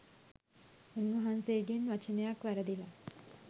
උන්වහන්සේ ගෙන් වචනයක් වැරදිලා